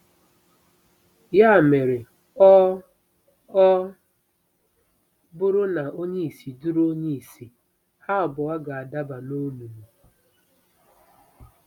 Ya mere, ọ ọ buru na onye-ìsì duru onye-ìsì, ha abua gādabà n'olùlù. ”